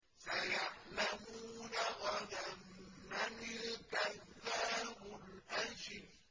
سَيَعْلَمُونَ غَدًا مَّنِ الْكَذَّابُ الْأَشِرُ